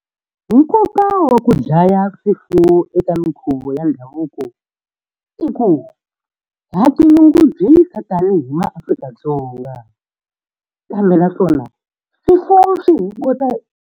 Nkoka wa ku dlaya swifuwo eka minkhuvo ya ndhavuko i ku, ha tinyungubyisa tanihi maAfrika-Dzonga. Kambe na swona .